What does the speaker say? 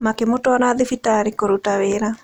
Makĩmũtwara thibitarĩ kũruta wĩra.